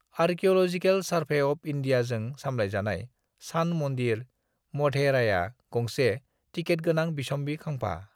"Archaeological survey of इन्डियाजों सामलायजानाय सान मन्दिर, मढेराया गंसे टिकेटगोनां बिसम्बि खाम्फा।"